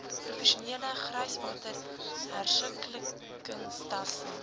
professionele gryswater hersirkuleringstelsels